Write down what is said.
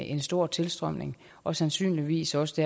en stor tilstrømning og sandsynligvis også det